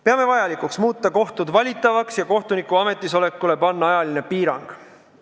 Peame vajalikuks muuta kohtud valitavaks ja panna kohtuniku ametisolekule ajaline piirang.